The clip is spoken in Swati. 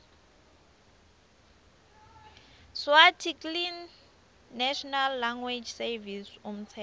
sswarticlenational language servicesumtsetfo